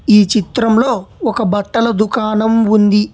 ఈ చిత్రంలో ఒక బట్టల దుకాణం ఉంది.